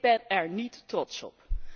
Ik ben er niet trots op.